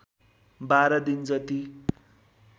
१२ दिन जति